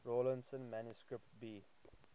rawlinson manuscript b